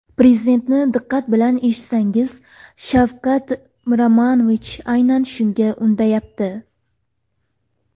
Prezidentni diqqat bilan eshitsangiz, Shavkat Miromonovich aynan shunga undayapti.